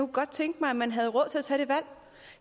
godt tænke mig at man havde råd til at tage det valg